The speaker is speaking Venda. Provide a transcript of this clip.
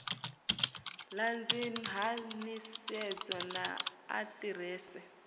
ṱanzi ha nḓisedzo na aḓirese